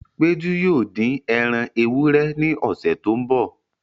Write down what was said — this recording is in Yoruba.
Péjú yóò dín ẹran ewúrẹ́ ní ọsẹ tó n bọ